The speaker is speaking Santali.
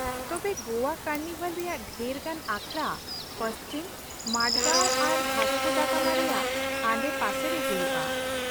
ᱛᱚᱵᱮ ᱜᱚᱣᱟ ᱠᱟᱨᱱᱤᱵᱷᱟᱞ ᱨᱮᱭᱟᱜ ᱰᱷᱮᱨ ᱜᱟᱱ ᱟᱠᱷᱲᱟ ᱯᱟᱧᱡᱤᱢ, ᱢᱟᱨᱜᱟᱣ ᱟᱨ ᱵᱷᱟᱥᱠᱳ ᱫᱟ ᱜᱟᱢᱟ ᱨᱮᱭᱟᱜ ᱟᱰᱮᱯᱟᱥᱮ ᱨᱮ ᱦᱩᱭᱩᱜᱼᱟ ᱾